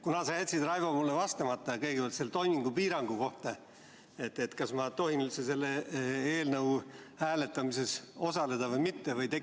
Kuna sa jätsid, Raivo, mulle vastamata kõigepealt selle toimingupiirangu kohta, siis kas ma tohin üldse selle eelnõu hääletamises osaleda või mitte?